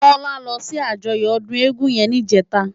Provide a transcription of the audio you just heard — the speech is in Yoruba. Tola lò si àjòyò òdún égùn yèn nijètá